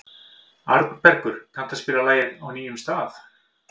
Arnbergur, kanntu að spila lagið „Á nýjum stað“?